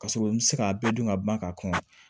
Ka sɔrɔ n mi se k'a bɛɛ dun ka ban ka kɔn